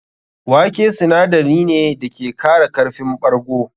Wake sinadari ne da ke kara karfin ɓargo.